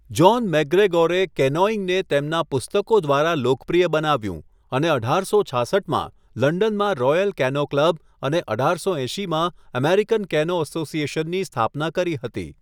John મૅકગ્રેગોરે કેનોઇંગને તેમના પુસ્તકો દ્વારા લોકપ્રિય બનાવ્યું અને અઢારસો છાસઠમાં લંડનમાં રોયલ કેનો ક્લબ અને અઢારસો એંશીમાં અમેરિકન કેનો અસોસિએશનની સ્થાપના કરી હતી.